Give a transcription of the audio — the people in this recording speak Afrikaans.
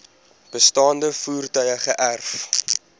bestaande voertuie geërf